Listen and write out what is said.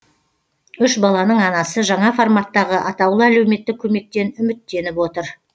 үш баланың анасы жаңа форматтағы атаулы әлеуметтік көмектен үміттеніп отыр